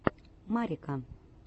марика